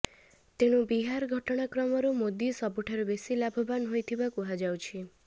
ତେଣୁ ବିହାର ଘଟଣାକ୍ରମରୁ ମୋଦି ସବୁଠାରୁ ବେଶୀ ଲାଭବାନ୍ ହୋଇଥିବା କୁହାଯାଉଛି